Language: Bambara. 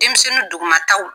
Denmisɛnnin duguma taw